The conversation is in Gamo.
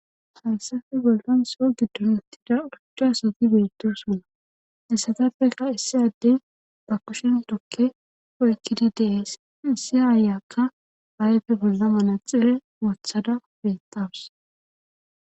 hayssafe bollon soo giddonottida uchcha asati beettosona essatafeka issi adde ba kushen tokke poykkidi deees issi aayakka baayefe bolla manaxepe wothada beettawus